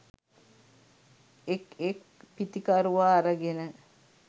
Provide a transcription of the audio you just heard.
එක් එක් පිතිකරුවා අරගෙන